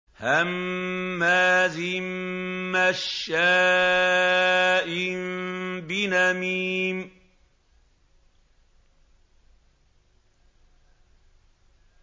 هَمَّازٍ مَّشَّاءٍ بِنَمِيمٍ